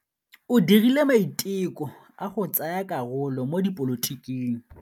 O dirile maitekô a go tsaya karolo mo dipolotiking.